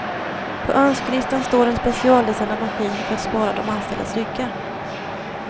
På önskelistan står en specialdesignad maskin för att spara de anställdas ryggar.